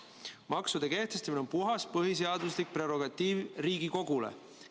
Maksude kehtestamine on põhiseaduslikult puhas Riigikogu prerogatiiv.